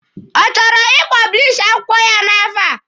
Ọ chọrọ ị pọblishi akwụkwọ ya n'afọ a?